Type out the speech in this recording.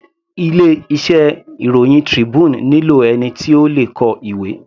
Ilé iṣẹ́ ìròhìn Tribune nílò ẹni tí ó le kọ ìwé.